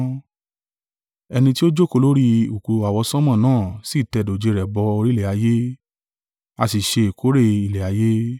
Ẹni tí ó jókòó lórí ìkùùkuu àwọsánmọ̀ náà sì tẹ dòjé rẹ̀ bọ orí ilẹ̀ ayé; a sì ṣe ìkórè ilẹ̀ ayé.